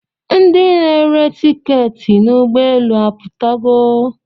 Ndi na-ere tiketị n'ụgbọelu aputogo?